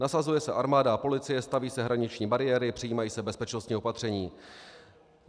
Nasazuje se armáda a policie, staví se hraniční bariéry, přijímají se bezpečnostní opatření.